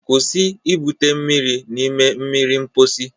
Kwụsị ibute mmiri n'ime mmiri mposi